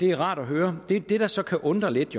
er rart at høre det der så kan undre lidt